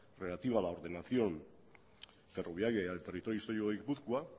relativa a la ordenación ferroviaria y al territorio histórico de guipúzcoa